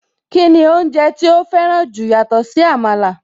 Kíni oúnjẹ tí ó fẹ́ràn jù yàtọ̀ sí Àmàlà?